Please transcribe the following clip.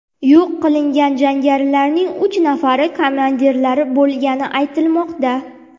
Yo‘q qilingan jangarilarning uch nafari komandirlar bo‘lgani aytilmoqda.